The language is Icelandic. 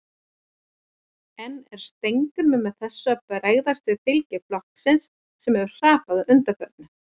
En er Steingrímur með þessu að bregðast við fylgi flokksins sem hefur hrapað að undanförnu?